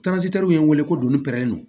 ye n wele ko doni